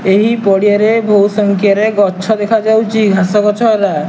ଏହି ପଡିଆ ରେ ବହୁତ୍ ସଂଖ୍ୟାରେ ଗଛ ଦେଖାଯାଉଚି ଘାସ ଗଛ ଏରା।